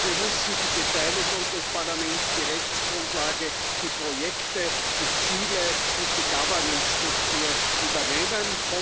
Wir müssen die Beteiligung des Parlaments, die Rechtsgrundlage, die Projekte, die Ziele und die Governance Struktur übernehmen.